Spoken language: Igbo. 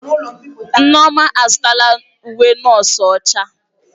Nneoma azụtala uwe nọọsụ ọcha.